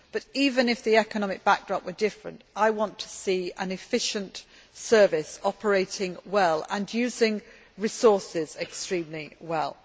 However, even if the economic backdrop were different, I would want to see an efficient Service operating well and using resources extremely well.